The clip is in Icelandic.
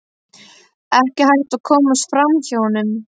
Ekki hægt að komast fram hjá honum.